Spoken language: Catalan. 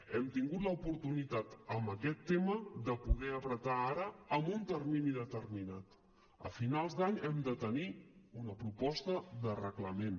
hem tingut l’oportunitat en aquest tema de poder apretar ara amb un termini determinat a finals d’any hem de tenir una proposta de reglament